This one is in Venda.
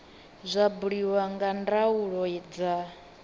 zwa buliwa nga ndaulo dza